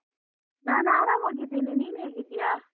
ನಾನ್ ಆರಾಮಾಗಿದ್ದೇನೆ, ನೀನ್ ಹೇಗಿದ್ದೀಯಾ?